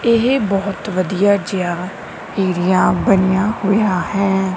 ਇਹ ਬਹੁਤ ਵਧੀਆ ਜਿਹਾ ਏਰੀਆ ਬਣੀਆ ਹੋਇਆ ਹੈ।